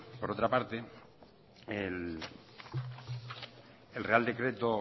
por otra parte el real decreto